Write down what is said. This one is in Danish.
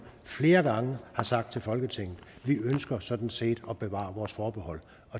flere gange har sagt til folketinget vi ønsker sådan set at bevare vores forbehold